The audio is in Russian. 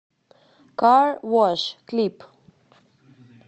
кар вош клип